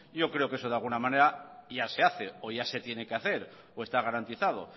yo creo que eso de alguna manera ya se hace o ya se tiene que hacer o está garantizado